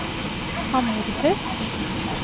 Hammerfest